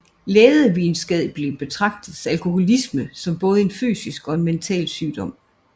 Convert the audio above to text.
Lægevidenskabeligt set betragtes alkoholisme som både en fysisk og en mental sygdom